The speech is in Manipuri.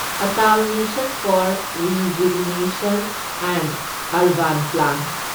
Atal mission for rejuvenation and urban plan